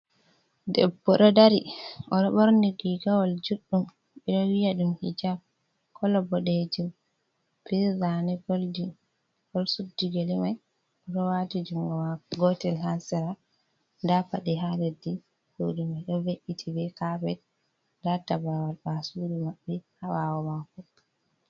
Debbo do dari oɗo ɓorni rigawol juɗɗum ɓe ɗo wiya ɗum hijaɓ kolo boɗejum bi zane golɗin oɗo Suɗɗi gele mai oɗo wati jungo mako gotel ha sira ɗa paɗe ha leɗɗi suɗu mai ɗo ve’iti be kapet ɗa tabrawal ɓa sudu maɓɓe ha bawo mako.